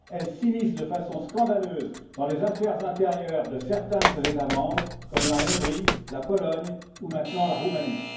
Elle s'immisce de façon scandaleuse dans les affaires intérieures de certains de ses États membres comme la Hongrie, la Pologne ou maintenant la Roumanie.